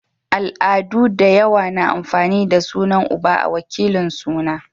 Al'adu dayawa na amfani da sunan uba a wakilin suna